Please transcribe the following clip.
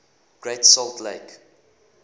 great salt lake